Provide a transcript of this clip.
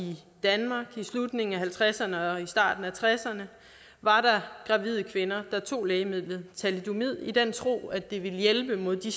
danmark i slutningen af nitten halvtredserne og starten af nitten tresserne var der gravide kvinder der tog lægemidlet thalidomid i den tro at det ville hjælpe mod de